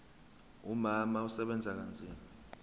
umama usebenza kanzima